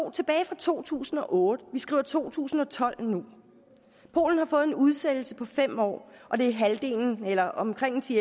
er tilbage fra to tusind og otte og vi skriver to tusind og tolv nu polen har fået en udsættelse på fem år og det er halvdelen eller omkring ti